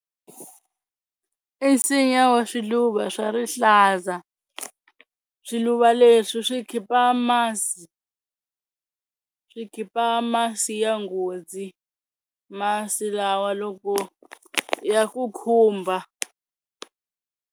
I nsinya wa swiluva swa rihlaza, swiluva leswi swi khipa masi swi khipa masi ya nghozi masi lawa loko ya ku khumbha.